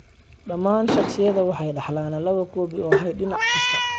Dhammaan shakhsiyaadka waxay dhaxlaan lawa koobi oo hidde- dinac kasta.